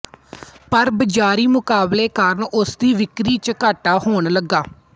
ਪਰ ਬਜ਼ਾਰੀ ਮੁਕਾਬਲੇ ਕਾਰਨ ਉਸਦੀ ਵਿਕ੍ਰੀ ਚ ਘਾਟਾ ਹੋਣ ਲੱਗਾ